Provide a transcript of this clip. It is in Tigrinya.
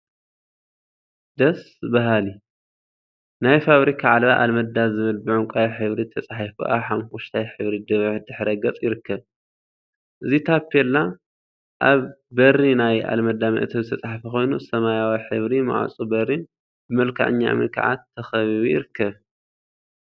ደስ በሃሊ! ናይ ፋብሪካ ዓለባ አልመዳ ዝብል ብዕንቋይ ሕብሪ ተፃሒፉ አብ ሓመኩሽታይ ሕብሪ ድሕረ ገፅ ይርከብ፡፡ እዚ ታፔላ አብ በሪ ናይ አልመዳ መእተዊ ዝተፀሓፈ ኮይኑ ሰማያዊ ሕብሪ ማዕፆ በሪን ብመልክዐኛ እምኒ ከዓ ተካቢቡ ይርከብ፡፡